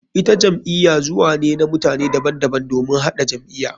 Ita jam'iya zuwa ne na mutane daban daban domin haɗa jam'iya.